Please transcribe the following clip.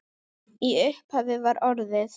Í upphafi var orðið